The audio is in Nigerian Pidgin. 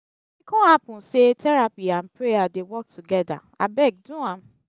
if e con hapun say therapy nd prayer dey work togeda abeg do am